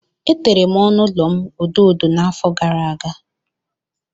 Etere m ọnụ ụlọ m odo odo n'afọ gara aga.